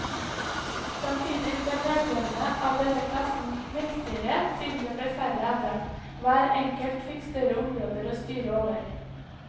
Samtidig ble medlemmene av denne klassen mektigere siden det ble færre av dem, hver enkelt fikk større områder å styre over.